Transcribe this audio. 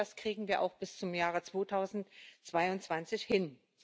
Ich denke, das kriegen wir auch bis zum Jahre 2022 hin.